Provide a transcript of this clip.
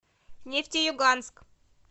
нефтеюганск